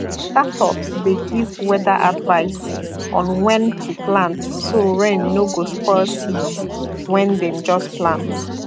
startups dey give weather advice on when to plant so rain no go spoil seeds when dem just plant